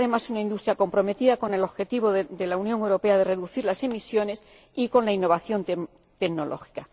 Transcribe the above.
Es, además, una industria comprometida con el objetivo de la Unión Europea de reducir las emisiones y con la innovación tecnológica.